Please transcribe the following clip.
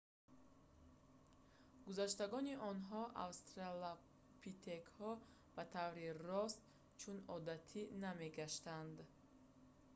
гузаштагони онҳо австралопитекҳо ба таври рост чун одатӣ намегаштанд